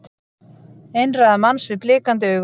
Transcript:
Einræða manns með blikandi augu